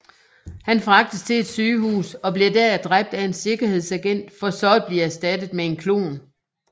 Han fragtes til et sygehus og bliver der dræbt af en sikkerhedsagent for så at blive erstattet med en klon